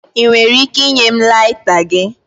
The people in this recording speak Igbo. Ị nwere ike ịnye m laita gị?